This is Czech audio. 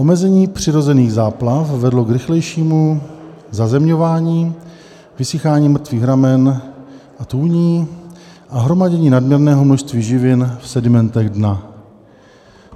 Omezení přirozených záplav vedlo k rychlejšímu zazemňování, vysychání mrtvých ramen a tůní a hromadění nadměrného množství živin v sedimentech dna.